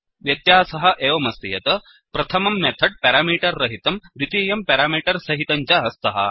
व्यत्यासः एवमस्ति यत् प्रथमं मेथड् पेरामीटर् रहितं द्वितीयं पेरामीटर् सहितं च स्तः